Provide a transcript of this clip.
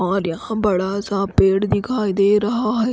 और यहाँ पर बडासा पेड़ दिखाई दे रहा है।